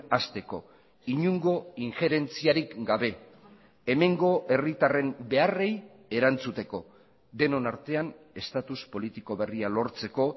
hasteko inongo injerentziarik gabe hemengo herritarren beharrei erantzuteko denon artean estatus politiko berria lortzeko